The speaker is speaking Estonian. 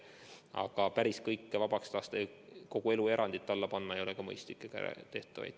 Aga päris kõike vabaks lasta, kogu elu erandite alla panna ei ole mõistlik ega tehtav.